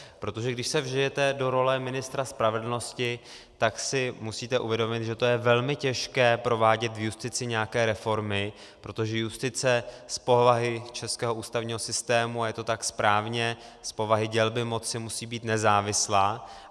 Protože když se vžijete do role ministra spravedlnosti, tak si musíte uvědomit, že to je velmi těžké provádět v justici nějaké reformy, protože justice z povahy českého ústavního systému, a je to tak správně, z povahy dělby moci, musí být nezávislá.